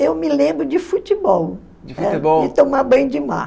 Eu me lembro de futebol, né, e tomar banho de mar.